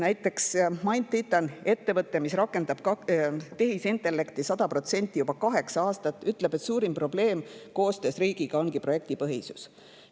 Näiteks MindTitan, ettevõte, mis rakendab tehisintellekti 100% juba kaheksa aastat, ütleb, et suurim probleem koostöös riigiga ongi projektipõhisus.